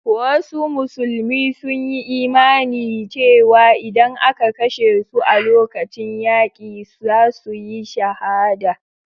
Wasu musulmi sun yi imanin cewa idan aka kashe su a lokacin yaki, za su yi shahada.